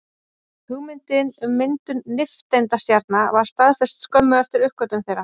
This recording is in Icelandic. Hugmyndin um myndun nifteindastjarna var staðfest skömmu eftir uppgötvun þeirra.